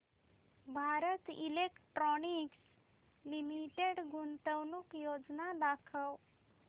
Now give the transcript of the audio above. Bharat Electronics Limited गुंतवणूक योजना दाखव